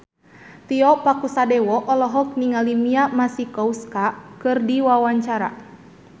Tio Pakusadewo olohok ningali Mia Masikowska keur diwawancara